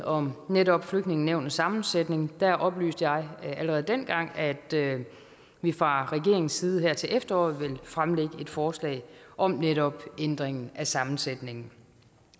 om netop flygtningenævnets sammensætning oplyste jeg allerede dengang at vi fra regeringens side her til efteråret ville fremlægge et forslag om netop ændringen af sammensætningen